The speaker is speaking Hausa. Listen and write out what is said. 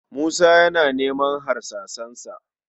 Musa yana neman harsasansa